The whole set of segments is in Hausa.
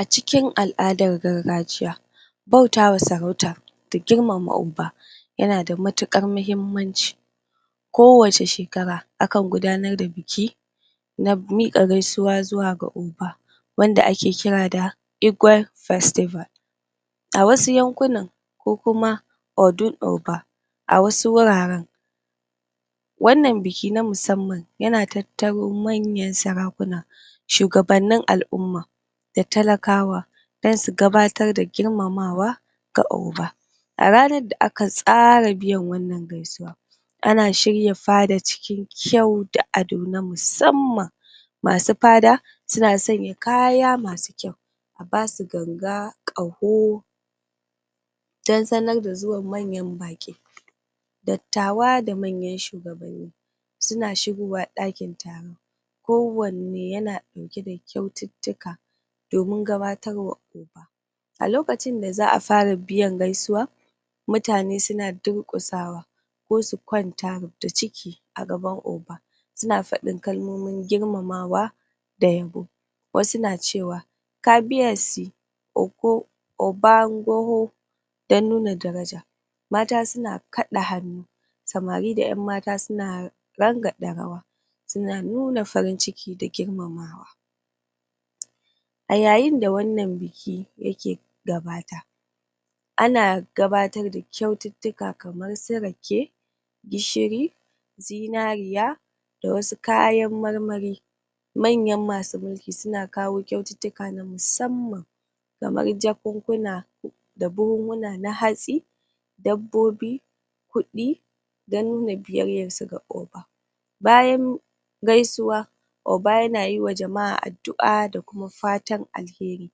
A cikin al'adar gargajiya bautawa sarauta da girmama Oba yana da matuƙar mahimmanci ko wace shekara akan gudanar da biki na miƙa gaisuwa zuwa ga Oba wanda ake kira da Igwe festival a wasu yankunan ko kuma Odun Oba a wasu wuraren wannan biki na musamman yana tattaro manyan sarakuna shugabanin al'umma da talakawa don su gabatar da girmamawa ga Oba a ranar da aka tsara biyan wannan gaisuwan ana shirya fada cikin kyau da ado na musamman masu fada suna sanya kaya masu kyau a basu ganga, ƙaho don sanar da zuwan manyan baƙi dattawa da manyan shgabanni suna shigowa ɗakin taron ko wanne yana ɗauke da kyaututtuka domin gabatar wa A lokaci da za fara biyan gaisuwa mutane suna darƙusawa ko su kwanta ruf da ciki a gaban Oba suna fadin kalmomin girmamawa da yabo wasu na cewa "kabiyesi oko oban goho" don nuna daraja mata suna kaɗa hannu samari da ƴan mata suna rangaɗa rawa suna nuna farin ciki da girmamawa a yayin da wannan biki yake gudana ana gabatar da kyaututtuka kamar su rake, gishiri, zinariya, da wasu kayan marmari. Manyan masu mulki suna kawo kyaututtuka na musamman kamar jakunkuna da buhuhuna na hatsi, dabbobi kudi, don nuna biyayyar su ga Oba Bayan gaisuwa Oba yana yi wa jama'a addu'a da kuma fatan alheri.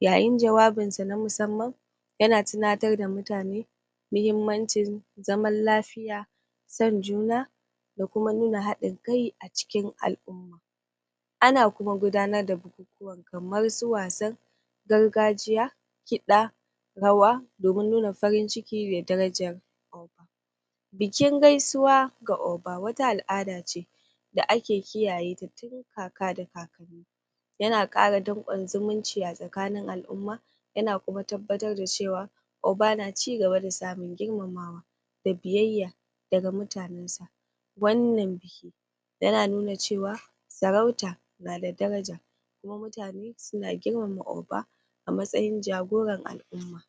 Yayin jawabinsa na musamman, yana tunatar da mutane muhimmancin zaman lafiya, son juna, da kuma nuna haɗin kai a cikin al'umma. Ana kuma gudanar da bukukuwan kamar su wasan gargajiya, kiɗa, rawa domin nuna farin ciki mai daraja Bikin gaisuwa ga Oba wata al'ada ce da ake kiyaye ta tun kaka da kakanni yana ƙara danƙon zumunci a tsakanin al'umma yana kuma tabbatar da cewa Oba na cigaba da samun girmamawa da biyayya daga mutanen sa Wannan biyayya yana nuna cewa sarauta yan da daraja kuma mutane suna girmama Oba a matsayin jagoran al'umma